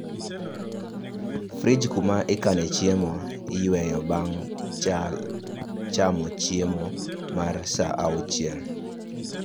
Frij kuma ikano chiemo, iyweyo bang' chamo chiemo mar sa auchiel